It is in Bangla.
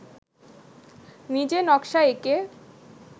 নিজে নকশা এঁকে